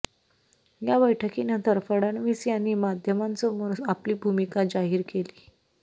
या बैठकीनंतर फडणवीस यांनी माध्यमांसमोर आपली भूमिका जाहीर केली